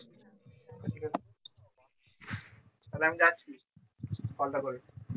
তাহলে আমি যাচ্ছি কল টা করে